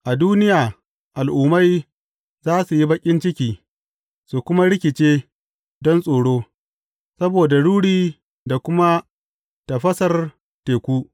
A duniya, al’ummai za su yi baƙin ciki, su kuma rikice don tsoro, saboda ruri da kuma tafasar teku.